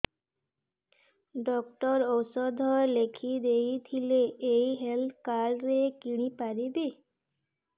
doctor ଔଷଧ ଲେଖିଦେଇଥିଲେ ଏଇ ହେଲ୍ଥ କାର୍ଡ ରେ କିଣିପାରିବି